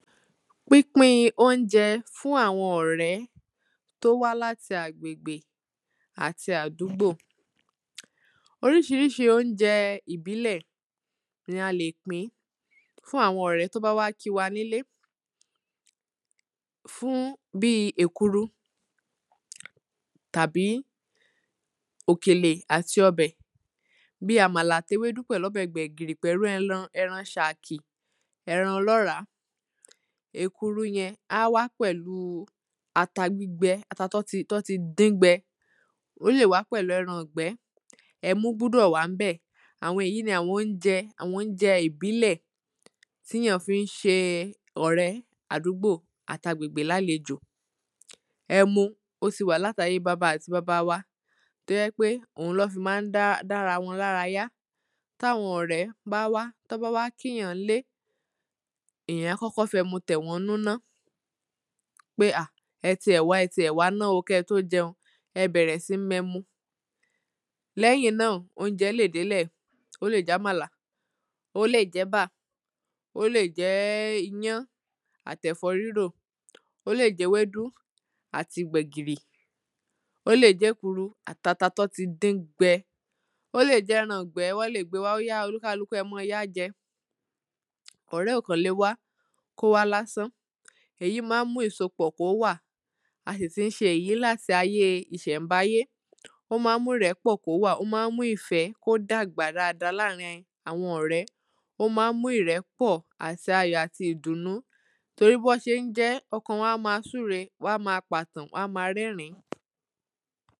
pínpín oúnjẹ fún àwọn ọ̀rẹ́ tí ó wá láti agbègbè àti àdúgbò oríṣiríṣi oúnjẹ ìbílẹ̀ ní a lè pín fún àwọn ọ̀rẹ́ tí ó bá wá kín wa nílé fún bíi èkuru tàbí òkèlè àti ọbẹ̀, bíi àmàlà àti ewédú pẹ̀lú ọbẹ̀ gbẹ̀gìrì pẹ̀lú ẹran ẹran ṣàkì ẹran ọlọ́ràá. èkuru yẹn, á wá pẹlú ata gbígbẹ, ata tọ́n ti dín gbẹ ó lè wàá pẹ̀lú ẹran-angbẹ́, ẹmu gbúdọ̀ wà ń bẹ̀. àwọn èyí ni àwọn oúnjẹ àwọn oúnjẹ ìbílẹ̀ tíyàn fi ń ṣe ọ̀rẹ́ àdúgbò àti agbègbè lálejò ẹmu, ó ti wà láti ayé baba àti baba wa tó jẹ́ pé ohun lọ́n fi ma ń dá dá ara wọn lára yá. táwọn ọ̀rẹ́ bá wá tọ́n bá wá kíyàn ńlé èyàn á kọ́kọ́ fẹmu tẹ̀wọ́n nnú ná pé hà ẹ ti ẹ̀ wá, ẹ ti ẹ̀ wá ná o, kẹ́ẹ tó jẹun, ẹ bẹ̀rẹ̀ sín mú ẹmu lẹ́yìn náà, oúnjẹ lè délẹ̀, ó lè jẹ́ àmàlà, ó lè jẹ́ ẹ̀bà, ó lè jẹ́ iyán àti ẹ̀fọ́ rírò ó lè jẹ́ ewédú àti gbẹ̀gìrì, ó lè jẹ́ èkuru àti ata tọ́n ti dín gbẹ, ó lè jẹ́ ẹran-angbẹ́, wọ́n lè gbée wá óyá o olúkáluku ẹ yáá jẹ ọ̀rẹ́ ò kàn le wá kó wá lásán, èyí ma ń mú kí ìsopọ̀ kó wà. a sì ti ń ṣe èyí láti ayé ìṣẹ̀nbáyé ó ma ń mú ìrẹ́pọ̀ kó wà, ó ma ń mú ìfẹ́ kó dàgbà dáadáa láàrín àwọn ọ̀rẹ́ ó ma ń mú ìrẹ́pọ̀ àti ayò àti ìdùnnú torí bọ́n ṣe ń jẹ ẹ́, ọkàn wọn á ma súre, wán ma pà tàn, wán á ma rẹ́rìn-ín